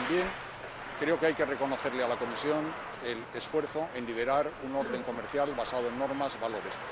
Y también creo que hay que reconocerle a la Comisión el esfuerzo por liderar un orden comercial basado en normas y valores.